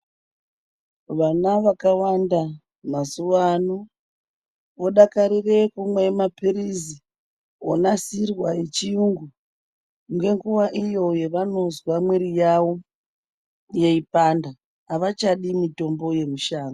Vana vakawanda mazuvano vodakarire kumwa mapirizi onasirwa echiyungu ngenguva iyo yavanozwa mwiri yawo yeipanda , havachadi mitombo yemushango.